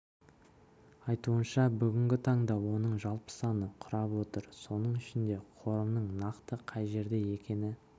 айтуынша бүгінгі таңда оның жалпы саны құрап отыр соның ішінде қорымның нақты қай жерде екені